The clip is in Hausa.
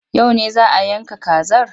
Yau ne za a yanka kazar?